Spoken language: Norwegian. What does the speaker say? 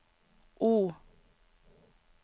O